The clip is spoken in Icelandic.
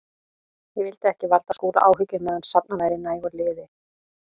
Ég vildi ekki valda Skúla áhyggjum meðan safnað væri nægu liði.